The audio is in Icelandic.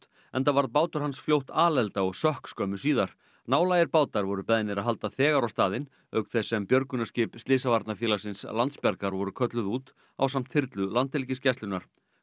enda varð bátur hans fljótt alelda og sökk skömmu síðar nálægir bátar voru beðnir að halda þegar á staðinn auk þess sem björgunarskip slysavarnarfélagsins Landsbjargar voru kölluð út ásamt þyrlu Landhelgisgæslunnar